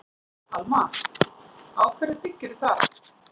Alma: Á hverju byggirðu það?